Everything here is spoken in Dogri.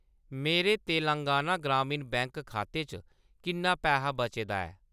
मेरे तेलंगाना ग्रामीण बैंक खाते च किन्ना पैहा बचे दा ऐ ?